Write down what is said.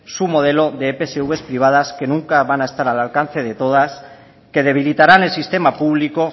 su modelo de epsv privadas que nunca van a estar al alcance de todas que debilitaran el sistema público